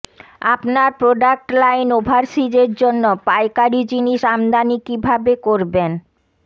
আপনার product line ওভারসিজের জন্য পাইকারী জিনিস আমদানি কিভাবে করবেন